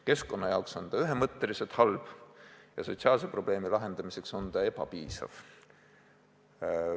Keskkonna jaoks on ta ühemõtteliselt halb ja sotsiaalse probleemi lahendamiseks on ta ebapiisav.